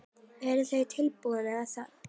Eruð þið tilbúnir í það?